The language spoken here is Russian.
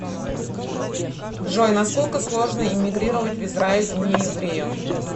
джой насколько сложно иммигрировать в израиль нееврею